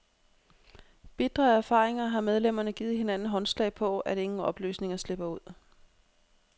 Bitre af erfaringer har medlemmerne givet hinanden håndslag på, at ingen oplysninger slipper ud.